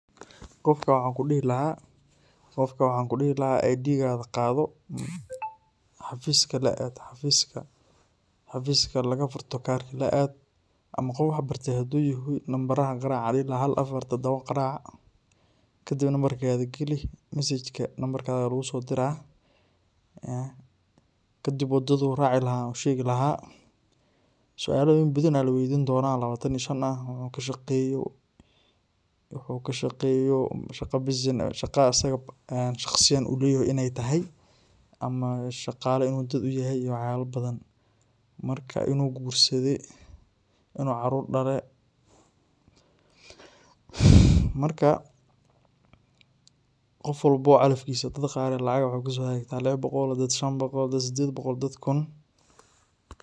Qofkaa waxan kuu dihii lahaa qofkaa waxan kuu dihii lahaa ee id kaaga qaado xafiiska laa aad xafiskaa xafiskaa lagaa fuurto kaarka laa aad ama qof wax baarte haduu yahaay lambarahaan qaraac aan dihii laaha haal afaar todooba qaraac kadiib lambarkaaga gaali mesejkaa lambarkaaga laguu soo diira. kaadib wadaadu raaci lahaa ayan uu sheegi laaha sualoyiin badaan laa weydiin doona oo lawaatan iyo shaan aah oo wuxu kaa shaaqeyo wuxu kaa shaaqeyo shaqaa asaaga shaqsiyaan uu leyahay ineey tahaay ama shaaqale inu daad uu yahaay iyo wax yaala badaan. maarka inuu gursaade inu caarur dhaale markaa qof walbo calafkiisa daad qaar laacag waxa kusoo hagaagta labaa boqool, daad shaan boqool, daad sideed boqool, daad kuun.